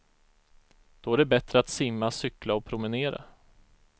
Då är det bättre att simma, cykla och promenera.